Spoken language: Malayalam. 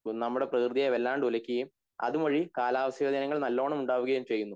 നമ്മടെ പ്രകൃതിയെ വല്ലാണ്ട് ഉലക്കുകയും അതുവഴി കാലാവസ്ഥാ വ്യതിയാനങ്ങൾ നല്ലോണം ഉണ്ടാവുകയും ചെയ്യുന്നു